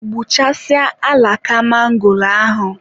Gbukasịaa alaka mangoro ahụ.